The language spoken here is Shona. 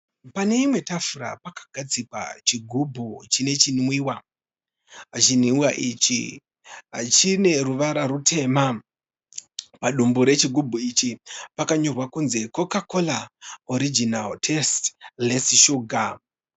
Pane imwe tafura pakagadzikwa chigubu chine chinwiwa. Chinwiwa ichi chine ruvara rurema. Padumbu regubhu ichi pakanyorwa kunzi, 'Coca-cola original taste, less sugar'.